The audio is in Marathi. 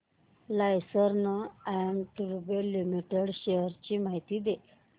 लार्सन अँड टुर्बो लिमिटेड शेअर्स ची माहिती दे